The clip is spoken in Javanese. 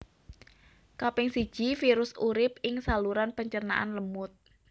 Kaping siji virus urip ing saluran pencernaan lemut